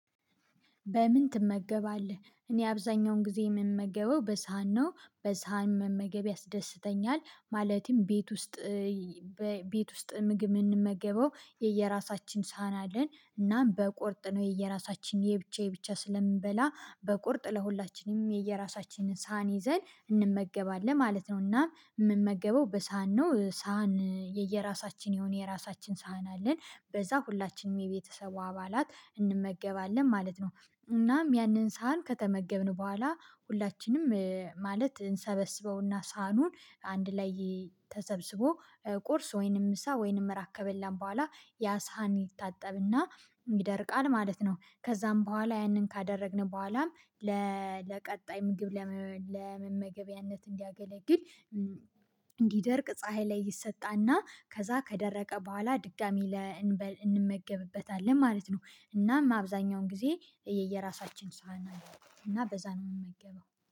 በምን? ትመገባለህ እኔ አብዛኛውን ጊዜ የምመገበው በሳህን ነው በሳህን መመገብ ያስደስተኛል። ማለትም ቤት ውስጥ ቤት ውስጥ ምግብ የምንመገበው የየራሳችን ሳህን አለን። እናም በቁርጥ ነው የየራሳችን የብቻ የብቻ ስለምንበላ በቁርጥ ለሁላችንም የየራሳችንን ሳህን ይዘን እንመገባለን ማለት ነው። እና የምንመገበው በሳህን ነው ሳህን የየራሳችን የሆነ የራሳችን ሳህን አለን። በዛ ሁላችንም የቤተሰቡ አባላት እንመገባለን ማለት ነው። እናም ያንን ሳህን ከተመገብን በኋላ ሁላችንም ማለት እንሰበስበውና ሳህኑን አንድ ላይ ተዘብዝቦ ቁርስ ወይንም ምሳ ወይንም እራት ከበላን በኋላ ያ ሳህን ይታጠብና ይደርቃል ማለት ነው። ከዛም በኋላ ያንን ካደረግን በኋላም ለቀጣይ ምግብ ለመመገቢያነት እንዲያገለግል እንዲደርቅ ፀሀይ ላይ ይሰጣልና ከዛ ከደረቀ በኋላ ድጋሚ እንመገብበታለን ማለት ነው። እናም አብዛኛውን ጊዜ የየራሳችን ሳህን አለን እና በዛ ነው የምንመገበው